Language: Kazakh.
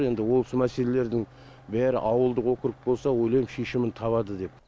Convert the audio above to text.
енді осы мәселелердің бәрі ауылдық округ болса ойлаймын шешімін табады деп